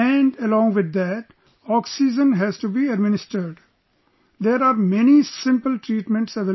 And along with that, oxygen has to be administered...there are many simple treatments available